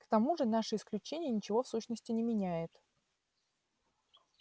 к тому же наше исключение ничего в сущности не меняет